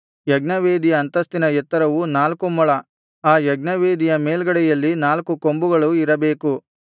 ಯಜ್ಞವೇದಿಯ ಅಂತಸ್ತಿನ ಎತ್ತರವು ನಾಲ್ಕು ಮೊಳ ಆ ಯಜ್ಞವೇದಿಯ ಮೇಲ್ಗಡೆಯಲ್ಲಿ ನಾಲ್ಕು ಕೊಂಬುಗಳು ಇರಬೇಕು